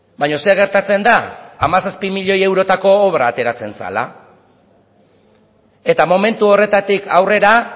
baina zer gertatzen da hamazazpi milioi eurotako obra ateratzen zela eta momentu horretatik aurrera